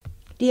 DR2